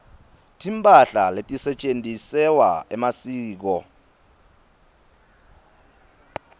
timphahla letisetjentisewa emasiko